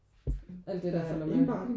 Alt det der følger med